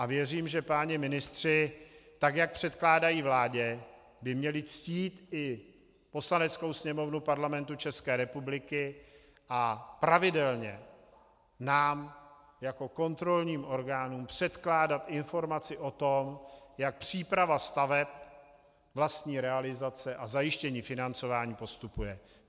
A věřím, že páni ministři, tak jak předkládají vládě, by měli ctít i Poslaneckou sněmovnu Parlamentu České republiky a pravidelně nám jako kontrolním orgánům předkládat informaci o tom, jak příprava staveb, vlastní realizace a zajištění financování postupuje.